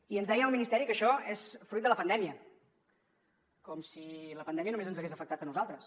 i ens deien al ministeri que això és fruit de la pandèmia com si la pandèmia només ens hagués afectat a nosaltres